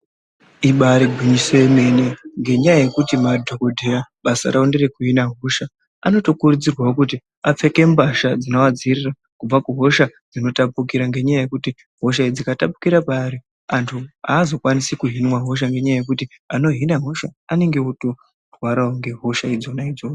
Ibari gwinyiso yemene nganyaa yekuti madhogodheya basa rawo ndere kuhina hosha anotokurudzirwa mbasha dzinowadziirira kubva kuhosha dzinotapukira ngekuti hosha iyi ikatapukira paari anhu haazokwanise kuhinwa hosha ngenyaa yekuti anohina hosha anenge otorwarawo nehosha dzona idzodzo.